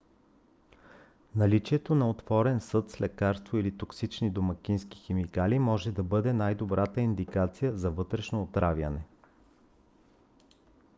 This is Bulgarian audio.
наличието на отворен съд с лекарство или токсични домакински химикали може да бъде най-добрата индикация за вътрешно отравяне